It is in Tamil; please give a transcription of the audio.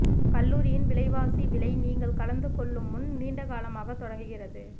கல்லூரியின் விலைவாசி விலை நீங்கள் கலந்துகொள்ளும் முன் நீண்ட காலமாக தொடங்குகிறது